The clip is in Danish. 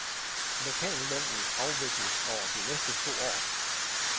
Lokallønnnen afvikles over de næste to år.